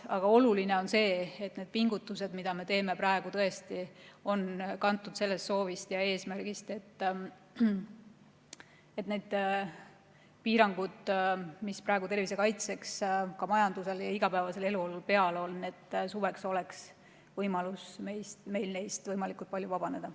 Aga oluline on see, et need pingutused, mida me praegu teeme, on tõesti kantud soovist ja eesmärgist, et neist piirangutest, mis praegu tervise kaitseks majandusele ja igapäevasele elule peale on pandud, oleks võimalik suveks meil võimalikult suures osas vabaneda.